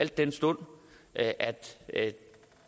den stund at at